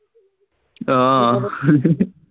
আহ